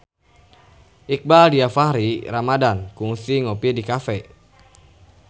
Iqbaal Dhiafakhri Ramadhan kungsi ngopi di cafe